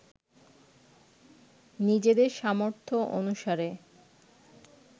নিজেদের সামর্থ্য অনুসারে